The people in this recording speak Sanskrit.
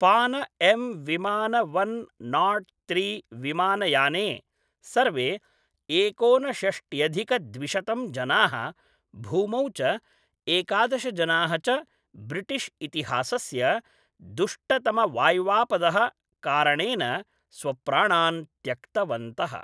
पान एम् विमान वन् नाट् त्रि विमानयाने सर्वे एकोनषष्ट्ट्यधिकद्विशतं जनाः, भूमौ च एकादश जनाः च ब्रिटिश् इतिहासस्य दुष्टतमवाय्वापदः कारणेन स्वप्राणान् त्यक्तवन्तः